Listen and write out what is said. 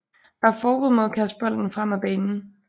Der er forbud mod at kaste bolden frem ad banen